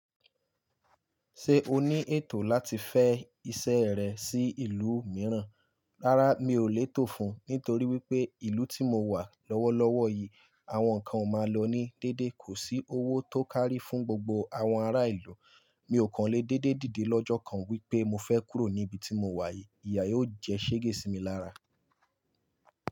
Ṣé o ní ètò láti fẹ́ isẹ́ rẹ sí ìlú mìíràn? Rárá, mi ò lè tò fún un nítorí wípé ìlú tí mo wà lọ́wọ́lọ́wọ́ yìí àwọn nǹkan o máa lọ ní dédé. Kò sí owó tó kárí fún gbogbo àwọn ará ìlú. Mi ò kàn lé déédé dìde lọ́jọ́ kan wípé mo fẹ́ kúrò níbi tí mo wà yìí. Ìyà yóò jẹ́ ṣéégé sí mi lára.